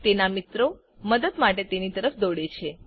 તેનાં મિત્રો મદદ માટે તેની તરફ દોડે છે